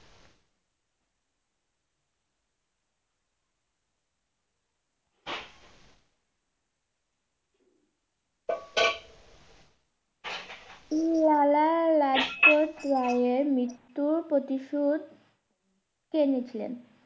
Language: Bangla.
উম~লালা লালা লাজপত রায়ের মৃত্যুর প্রতিশোধ কে নিয়েছিলেন